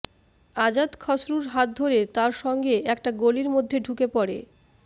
আজাদ খসরুর হাত ধরে তার সঙ্গে একটা গলির মধ্যে ঢুকে পড়ে